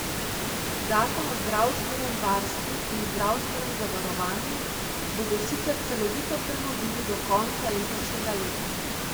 Zakon o zdravstvenem varstvu in zdravstvenem zavarovanju bodo sicer celovito prenovili do konca letošnjega leta.